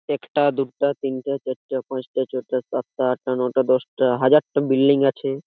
একটা দুটা তিনটা চারটা পাঁচটা ছয়টা সাতটা আটটা নয়টা দশটা হাজারটা বিল্ডিং আছে।